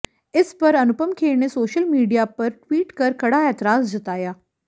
इस पर अनुपम खेर ने सोशल मीडिया पर ट्वीट कर कड़ा ऐतराज़ जताया